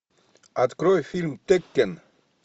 открой фильм теккен